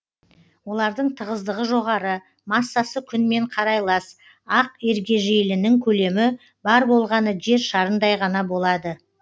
олардың тығыздығы жоғары массасы күнмен қарайлас ақ ергежейлінің көлемі бар болғаны жер шарындай ғана болады